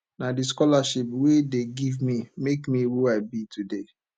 na the scholarship wey dey give me make me who i be today